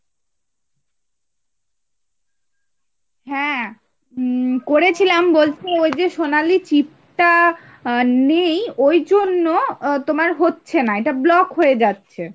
হ্যাঁ উম করেছিলাম বলতে ওই যে সোনালী chip টা আহ নেই ওইজন্য তোমার হচ্ছে না এটা block হয়ে যাচ্ছে ,